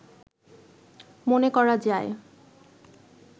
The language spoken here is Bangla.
মনে করা যায়